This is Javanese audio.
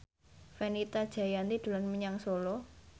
Fenita Jayanti dolan menyang Solo